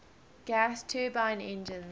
gas turbine engines